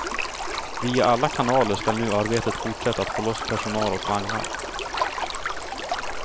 Via alla kanaler skall nu arbetet fortsätta att få loss personal och vagnar.